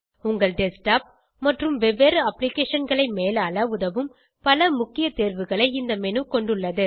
உங்கள் டெஸ்க்டாப் மற்றும் வெவ்வேறு applicationகளை மேலாள உதவும் பல முக்கிய தேர்வுகளை இந்த மேனு கொண்டுள்ளது